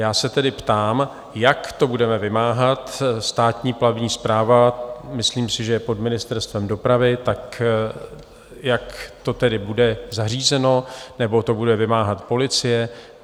Já se tedy ptám, jak to budeme vymáhat, Státní plavební správa, myslím si, že je pod Ministerstvem dopravy, tak jak to tedy bude zařízeno, nebo to bude vymáhat policie?